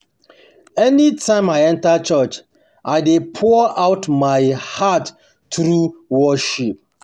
anytime I um enter church, I dey pour out my heart through worship